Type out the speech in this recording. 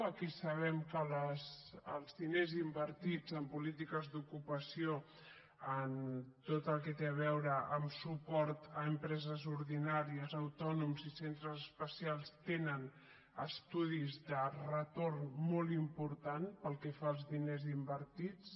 aquí sabem que els diners invertits en polítiques d’ocupació en tot el que té a veure amb suport a empreses ordinàries autònoms i centres especials tenen estudis de retorn molt importants pel que fa als diners invertits